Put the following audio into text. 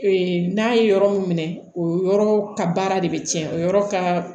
Ee n'a ye yɔrɔ min minɛ o yɔrɔ ka baara de bɛ tiɲɛ o yɔrɔ ka